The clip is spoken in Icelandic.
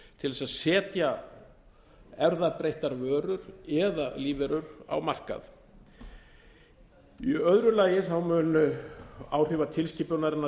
til þess að setja erfðabreyttar vörur eða lífverur á markað í öðru lagi mun áhrifa tilskipunarinnar